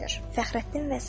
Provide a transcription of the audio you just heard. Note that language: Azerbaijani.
Fəxrəddin və Səbah.